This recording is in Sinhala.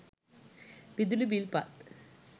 විදුලි බිල් පත්